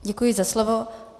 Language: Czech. Děkuji za slovo.